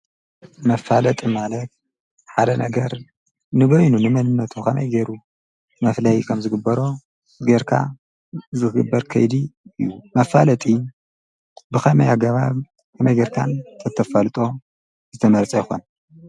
መፋለጢ ማለት ንበይኑ ከመይ ገሩ ዝፈለየሉ እንትከውን ብኻሊእ ኸዓ መላለይ ፍርያትን ግልጋሎትን እዩ።